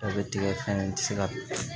Aw bɛ tigɛ ka ɲi tɛ se ka